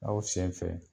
Aw sen fɛ